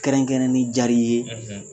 Kɛrɛnkɛrɛn ni jar'i ye